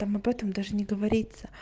там об этом даже не говориться